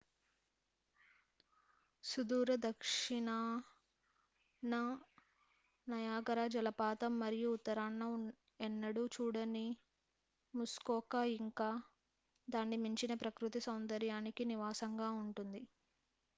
సుదూర దక్షిణాన నయాగార జలపాతం మరియు ఉత్తరాన ఎన్నడూ చూడని ముస్కోకా ఇంక దాన్ని మించిన ప్రకృతి సౌందర్యానికి నివాసంగా ఉంటుంది